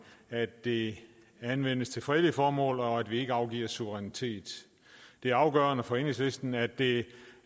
at det anvendes til fredelige formål og at vi ikke afgiver suverænitet det er afgørende for enhedslisten at det